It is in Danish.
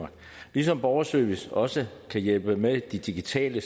ligesom borgerservice også kan hjælpe med de digitale